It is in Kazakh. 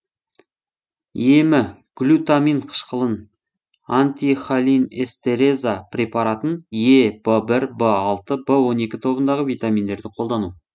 емі глютамин қышқылын антихолинэстераза препаратын е в бір в алты в он екі тобындағы витаминдерді қолдану